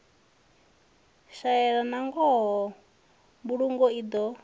shaeya nangoho mbulungo i do